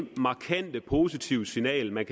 markante positive signal man